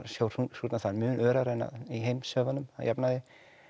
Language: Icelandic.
sjór súrnar þar mun örar en í heimshöfunum að jafnaði